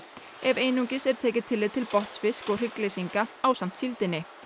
ef einungis er tekið tillit til botnfisks og hryggleysingja ásamt síldinni